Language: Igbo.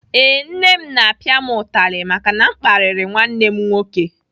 Ee, nne m na-apịa m utali maka na m kparịrị nwanne m nwoke.